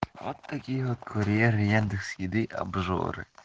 от какие вот курьеры яндекс еды обжоры